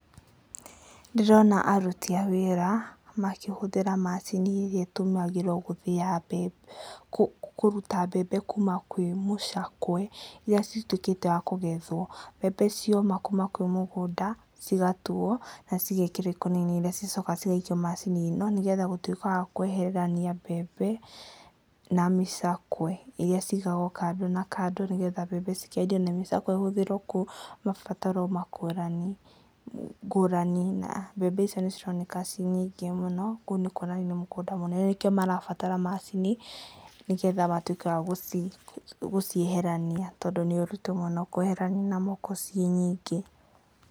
Ndĩrona aruti a wĩra makĩhũthĩra macini ĩrĩa ĩtũmagĩrwo gũthĩya mbembe, kũruta mbembe kuma kwĩ mũcakwe, iria cituĩkĩtwo wakũgethwo. Mbembe ciamu kuma kwĩ mũgũnda, cigatuo, na cigekĩrwo ikũnia-inĩ. Nĩ cicokaga cigaikio macini ĩno, nĩgetha gũtuĩka wa kweheranithia mbembe na mĩcakwe, iria cigagwo kando na kando, nĩgetha mbembe cikendio na mĩcakwe kũhũthĩrwo kũrĩ mabataro ngũrani, ngũrani, na mbembe icio nĩ cironeka ciĩ nyingĩ mũno, kũu nĩ kuonania nĩ mũgũnda mũnene, nĩkĩo marabatara macini, nĩgetha matuĩke a gũcieharania. Tondũ nĩ ũritũ mũno kweherania na moko ciĩ nyingĩ.